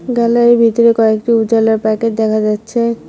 গ্যালারির ভিতরে কয়েকটি উজালার প্যাকেট দেখা যাচ্ছে।